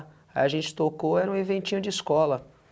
A gente tocou, era um eventinho de escola.